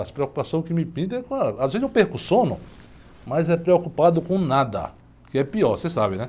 As preocupações que me pintam é com a, às vezes eu perco o sono, mas é preocupado com nada, que é pior, você sabe, né?